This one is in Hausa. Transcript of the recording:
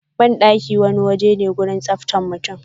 Bandaki waje ne na tsaftan mutum